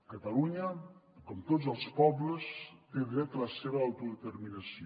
catalunya com tots els pobles té dret a la seva autodeterminació